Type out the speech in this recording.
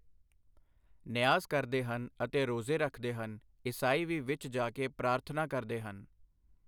ਨਿਆਜ਼ ਕਰਦੇ ਹਨ ਅਤੇ ਰੋਜ਼ੇ ਰੱਖਦੇ ਹਨ ਈਸਾਈ ਵੀ ਵਿੱਚ ਜਾ ਕੇ ਪ੍ਰਾਰਥਨਾ ਕਰਦੇ ਹਨ।